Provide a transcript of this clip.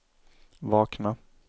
vakna